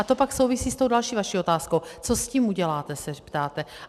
A to pak souvisí s tou další vaší otázkou, co s tím uděláte, se ptáte.